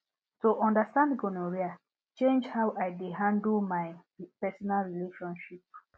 to understand gonorrhea change how i dey handle my personal relationship